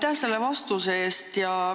Aitäh selle vastuse eest!